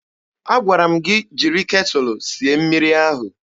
Agwara m gị jiri ketụlụ sie mmiri ahụ!